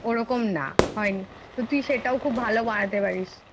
ওরকম না হয়নি তুই সেটাও খুব ভালো ভাবে বানাতে পারিস।